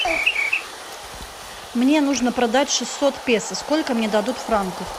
мне нужно продать шестьсот песо сколько мне дадут франков